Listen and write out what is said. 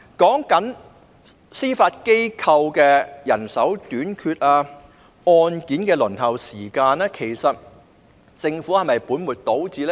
至於司法機構人手短缺、案件輪候時間等問題，其實政府是否本末倒置呢？